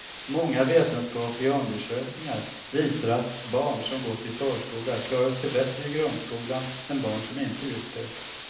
Många vetenskapliga undersökningar visar att barn som gått i förskola klarar sig bättre i grundskolan än barn som inte gjort det.